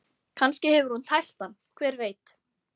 Kannski hefur hún tælt hann, hver veit?